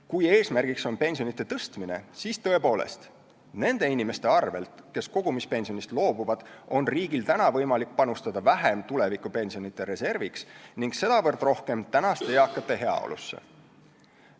Kui eesmärk on pensionide tõstmine, siis tõepoolest, nende inimese arvel, kes kogumispensionist loobuvad, on riigil võimalik panustada vähem tulevikupensionide reserviks ning sedavõrd rohkem praeguste eakate heaolusse.